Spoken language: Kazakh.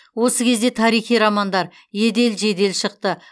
осы кезде тарихи романдар едел жедел шықты